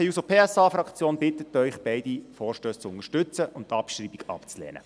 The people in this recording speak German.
Die SP-JUSO-PSAFraktion bittet Sie, beide Vorstösse zu unterstützen und die Abschreibung abzulehnen.